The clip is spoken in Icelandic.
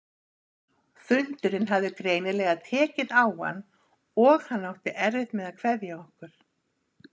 Fundurinn hafði greinilega tekið á hann- og hann átti erfitt með að kveðja okkur.